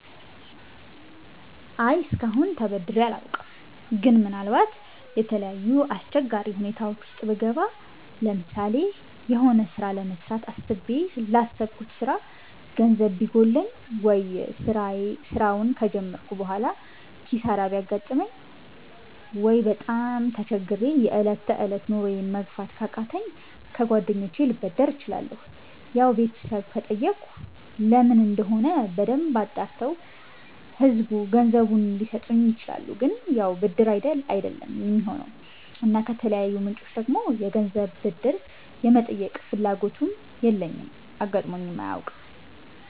አይ እስከአሁን ተበድሬ አላውቅም ግን ምናልባት የተለያዩ አስቸጋሪ ሁኔታወች ዉስጥ ብገባ ለምሳሌ የሆነ ስራ ለመጀመር አስቤ ላሰብኩት ስራ ገንዘብ ቢጎለኝ፣ ወይ ስራውን ከጀመርኩ በሆላ ኪሳራ ቢያጋጥመኝ፣ ወይ በጣም ተቸግሬ የ እለት ተእለት ኑሮየን መግፋት ካቃተኝ ከ ጓደኞቸ ልበደር እችላለሁ ያው ቤተሰብ ከጠየኩ ለምን እንደሆነ በደንብ አጣርተው ገንዘቡን ሊሰጡኝ ይችላሉ ግን ያው ብድር አይደለም የሚሆነው እና ከተለያዩ ምንጮች ደግሞ የገንዘብ ብድር የመጠየቅ ፍላጎቱም የለኝም አጋጥሞኝም አያውቅም